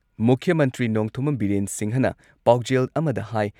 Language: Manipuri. ꯃꯨꯈ꯭꯭ꯌ ꯃꯟꯇ꯭ꯔꯤ ꯅꯣꯡꯊꯣꯝꯕꯝ ꯕꯤꯔꯦꯟ ꯁꯤꯡꯍꯅ ꯄꯥꯎꯖꯦꯜ ꯑꯃꯗ ꯍꯥꯏ